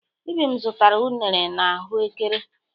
Ibim zụtara unere na ahụ ékẹrè.